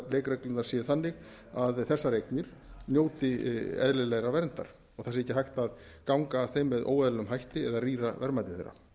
leikreglurnar séu þannig að þessar eignir njóti eðlilegrar verndar og ekki sé hægt að ganga að þeim með óeðlilegum hætti eða rýra verðmæti þeirra